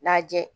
Lajɛ